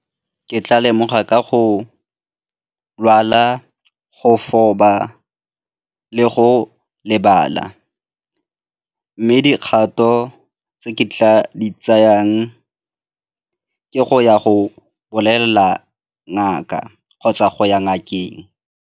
Ke tla lemoga ka go lwala, go le go lebala mme dikgato tse ke tla di tsayang ke go ya go bolelela ngaka kgotsa go ya ngakeng.